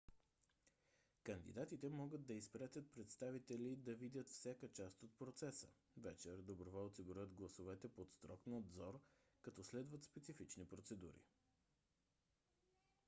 кандидатите могат да изпратят представители да видят всяка част от процеса. вечер доброволци броят гласовете под строг надзор като следват специфични процедури